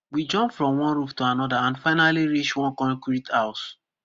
we jump from one roof to anoda and finally reach one concrete house